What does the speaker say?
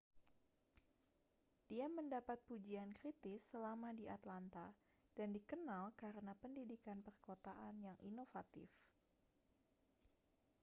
dia mendapat pujian kritis selama di atlanta dan dikenal karena pendidikan perkotaan yang inovatif